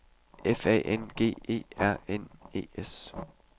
F A N G E R N E S